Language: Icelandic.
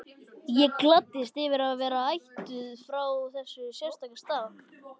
Ég gladdist yfir að vera ættuð frá þessum sérstaka stað.